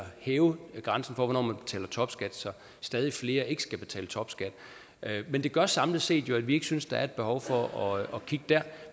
hæve grænsen for hvornår man betaler topskat så stadig flere ikke skal betale topskat men det gør samlet set at vi ikke synes der er et behov for at kigge der